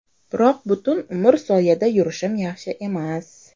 Biroq butun umr soyada yurishim yaxshi emas.